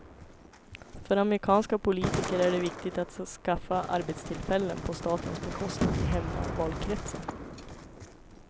För amerikanska politiker är det viktigt att skaffa arbetstillfällen på statens bekostnad i hemmavalkretsen.